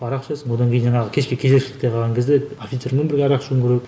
арақ ішесің одан кейін жаңағы кешке кезекшілікке қалған кезде офицермен бірге арақ ішуің керек